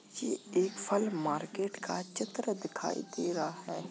जे एक फल मार्केट का चित्र दिखाई दे रहा है।